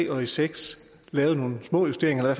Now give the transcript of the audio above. og seks lavede nogle små justeringer